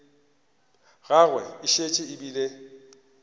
gagwe e šetše e bile